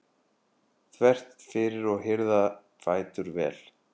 þvert fyrir og hirða fætur vel.